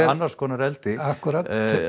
annars konar eldi akkúrat